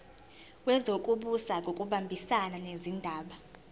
wezokubusa ngokubambisana nezindaba